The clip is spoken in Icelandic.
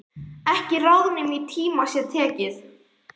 Ekki ráð nema í tíma sé tekið.